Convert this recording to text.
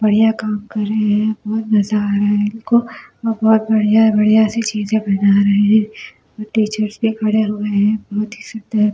बढ़िया काम कर रहे हैं बहुत मजा आ रहा है इनको और बहुत बढ़िया बढ़िया सी चीजें बना रहे हैं टीचर्स भी खड़े हुए हैं बहुत ही सुंदर--